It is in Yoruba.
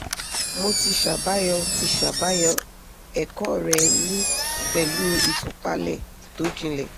mo ti ṣàbàyọ ti ṣàbàyọ ẹ̀kọ́ rẹ ní pẹ̀lú ìtúpalẹ̀ tó jinlẹ̀